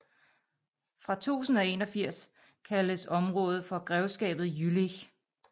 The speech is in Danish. Fra 1081 kaldes området for Grevskabet Jülich